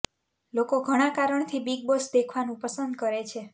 લોકો ઘણા કારણ થી બીગ બોસ દેખવાનું પસંદ કરે છે